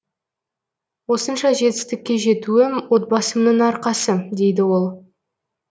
осынша жетістікке жетуім отбасымның арқасы дейді ол